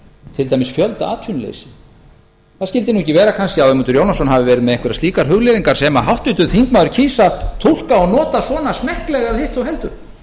til dæmis fjöldaatvinnuleysi það skyldi nú ekki vera kannski að ögmundur jónasson hafi verið með einhverjar slíkar hugleiðingar sem háttvirtur þingmaður kýs að túlka og nota svona smekklega eða hitt þó heldur